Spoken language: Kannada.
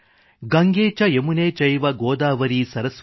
ಗಂಗೇ ಚ ಯಮುನೇ ಚೈವ ಗೋದಾವರಿ ಸರಸ್ವತಿ